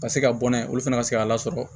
Ka se ka bɔ n'a ye olu fana ka se ka lasɔrɔ